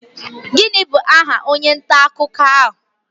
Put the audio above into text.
Gịnị bụ aha onye nta akụkọ ahụ?